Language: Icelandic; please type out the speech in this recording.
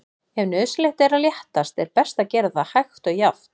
Ef nauðsynlegt er að léttast er best að gera það hægt og jafnt.